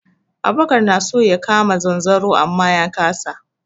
Abubakar na so ya kama zanzaro amma ya kasa.